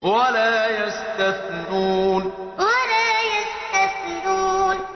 وَلَا يَسْتَثْنُونَ وَلَا يَسْتَثْنُونَ